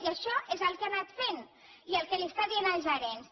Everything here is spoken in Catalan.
i això és el que ha anat fent i el que està dient als gerents